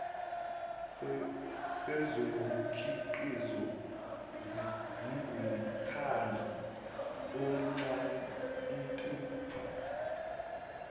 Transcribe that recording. sezokhiqizo singumkhandlu onxantathu